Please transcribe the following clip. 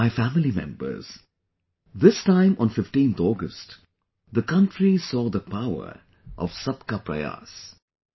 My family members, this time on 15th August, the country saw the power of 'Sabka Prayas'